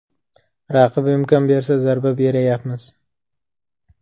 Raqib imkon bersa zarba berayapmiz.